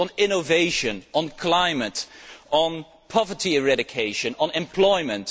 goals on innovation, on climate, on poverty eradication, on employment.